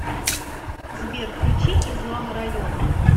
сбер включи излама район